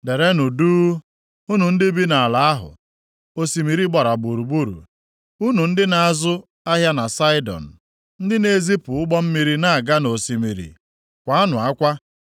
Derenụ duu, unu ndị bi nʼala ahụ osimiri gbara gburugburu. Unu ndị na-azụ ahịa na Saịdọn, ndị na-ezipụ ụgbọ mmiri na-aga nʼosimiri, kwaanụ akwa.